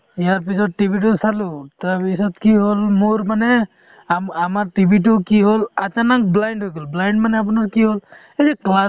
ইয়াৰপিছত TV তো চালো তাৰপিছত কি হ'ল মোৰ মানে আম~ আমাৰ TV তো কি হ'ল achanak blind হৈ গ'ল blind মানে আপোনাৰ কি হ'ল এই যে